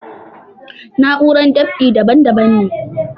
Na'urar dab'i daban daban ne